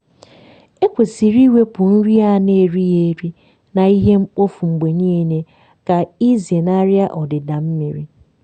ekwesịrị iwepụ nri a n’erighị eri na ihe mkpofu mgbe niile ka ịzenarị ọdịda mmiri.